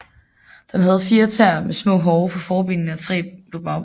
Den havde fire tæer med små hove på forbenene og tre på bagbenene